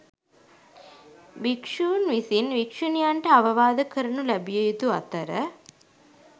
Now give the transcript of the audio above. භික්‍ෂූන් විසින් භික්‍ෂුණියන්ට අවවාද කරනු ලැබිය යුතු අතර